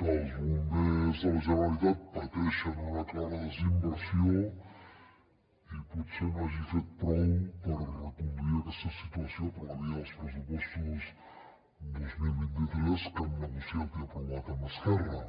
que els bombers de la generalitat pateixen una clara desinversió i potser no hagi fet prou per reconduir aquesta situació per la via dels pressupostos dos mil vint tres que han negociat i aprovat amb esquerra